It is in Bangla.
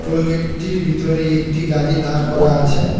টোল গেটটির ভিতরেই একটি গাড়ি দাঁড় করা আছে।